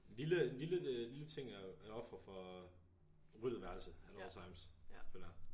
Lille lille øh lille ting at at ofre for ryddet værelse at all times føler jeg